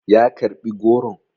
ya karɓi goron?